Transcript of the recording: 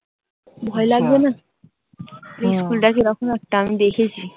ভয় লাগবে না? school টা কিরকম একটা? আমি দেখেছি।